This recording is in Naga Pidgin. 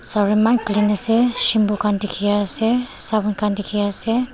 clean ase shampoo khan dikhiase sapun khan dikhiase.